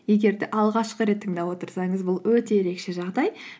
егер де алғашқы рет тыңдап отырсаңыз бұл өте ерекше жағдай